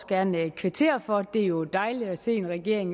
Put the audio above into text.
gerne kvittere for det er jo dejligt at se en regering